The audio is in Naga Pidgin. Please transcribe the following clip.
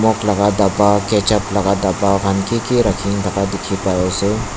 nimok laga dhaba ketchup laga dhaba khan kiki rakhin thaka dikhi pai ase.